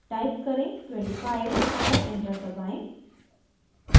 type करें 25 और enter दबाएं